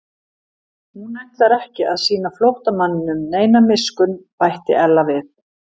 Hún ætlar ekki að sýna flóttamanninum neina miskunn bætti Ella við.